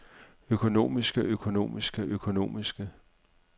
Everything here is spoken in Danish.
økonomiske økonomiske økonomiske